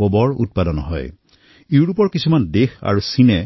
কিছুমান ইউৰোপীয় দেশ আৰু চীনৰ